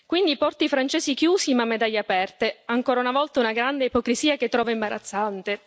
Quindi i porti francesi chiusi, ma medaglie aperte ancora una volta una grande ipocrisia che trovo imbarazzante!